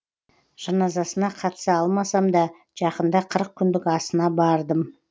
жаназасына қатыса алмасам да жақында қырық күндік асына бардым